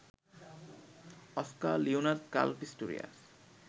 Oscar Leonard Carl Pistorius